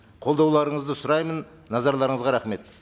қолдауларыңызды сұраймын назарларыңызға рахмет